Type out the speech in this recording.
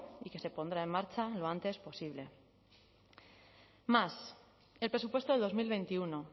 y que se pondrá en marcha lo antes posible más el presupuesto de dos mil veintiuno